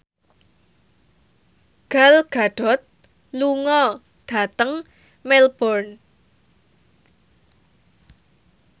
Gal Gadot lunga dhateng Melbourne